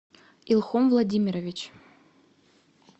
илхом владимирович